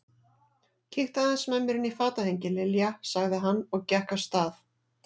Kíktu aðeins með mér inn í fatahengi, Lilja sagði hann og gekk af stað.